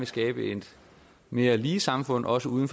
skabe et mere lige samfund også uden